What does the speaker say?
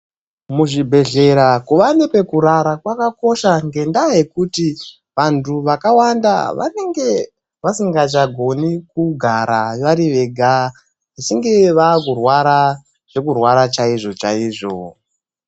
Muzvibhedhlera kuva nepekurara kwakakosha ngenda yekuti vantu vakawanda vanenge vasingachagoni kugara vari vega zvichinge vakurwara zvekurwara chaizvo chaizvo.